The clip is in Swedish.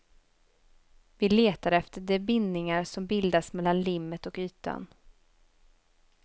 Vi letar efter de bindningar som bildas mellan limmet och ytan.